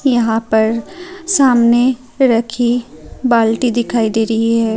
यहां पर सामने रखी बाल्टी दिखाई दे रही है।